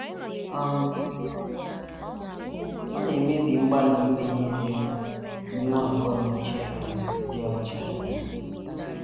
um Ọ na - emebi mgbalị ime ihe dị mma na inwe akọ na uche um dị ọcha. um